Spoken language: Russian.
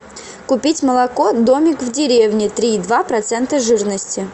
купить молоко домик в деревне три и два процента жирности